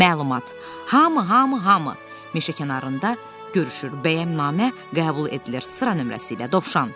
Məlumat: Hamı, hamı, hamı meşəkənarında görüşür, bəhəmnamə qəbul edilir sıra nömrəsi ilə, dovşan.